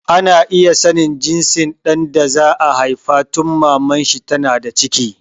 Ana iya sanin jinsin ɗan da za a haifa tun Maman shi ta na da ciki